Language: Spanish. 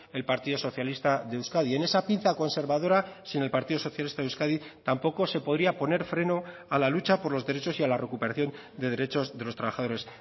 el partido socialista de euskadi en esa pinza conservadora sin el partido socialista de euskadi tampoco se podría poner freno a la lucha por los derechos y a la recuperación de derechos de los trabajadores